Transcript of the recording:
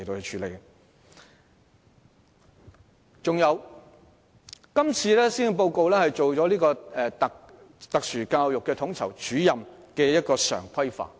此外，今次的施政報告亦提出將特殊教育統籌主任常規化。